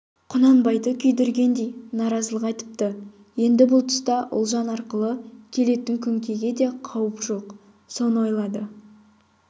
құнанбайды күйдіргендей наразылық айтыпты енді бұл тұста ұлжан арқылы келетін күнкеге деген қауып жоқ соны ойлады